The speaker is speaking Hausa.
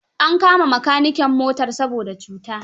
An kama makaniken motar saboda cuta.